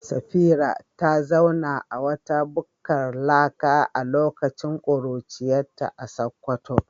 Safira ta zauna a wata bukkar laka a lokacin kuruciyarta a Sakkwato.